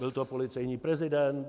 Byl to policejní prezident?